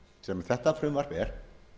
sem þetta frumvarp er